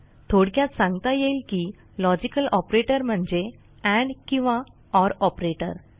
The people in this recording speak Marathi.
थोडक्यात सांगता येईल की लॉजिकल ऑपरेटर म्हणजे एंड किंवा ओर ऑपरेटर